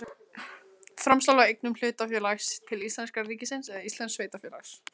Framsal á eignum hlutafélags til íslenska ríkisins eða íslensks sveitarfélags.